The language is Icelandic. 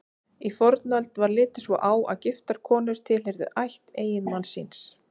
Í fornöld var litið svo á að giftar konur tilheyrðu ætt eiginmanns síns.